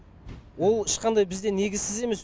ол ешқандай бізде негізсіз емес